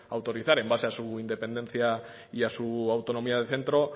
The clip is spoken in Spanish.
autorizar en base a su independencia y a su autonomía de centro